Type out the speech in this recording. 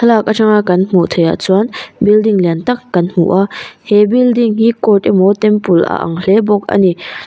thlalak atanga kan hmuh theihah chuan building lian tak kan hmu a he building hi court emaw temple a ang hle bawk a ni.